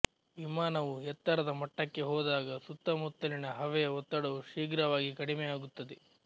ವಿಮಾನವು ಎತ್ತರದ ಮಟ್ಟಕ್ಕೆ ಹೋದಾಗ ಸುತ್ತಮುತ್ತಲಿನ ಹವೆಯ ಒತ್ತಡವು ಶೀಘ್ರವಾಗಿ ಕಡಿಮೆಯಾಗುತ್ತದೆ